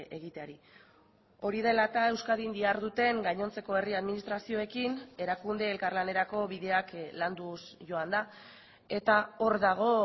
egiteari hori dela eta euskadin diharduten gainontzeko herri administrazioekin erakunde elkarlanerako bideak landuz joan da eta hor dago